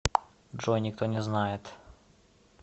джой никто не знает